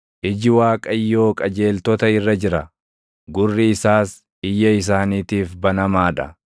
Iji Waaqayyoo qajeeltota irra jira; gurri isaas iyya isaaniitiif banamaa dha;